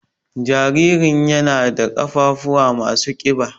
Jaririn ƴana ɗa ƙafafuwa masu ƙiba.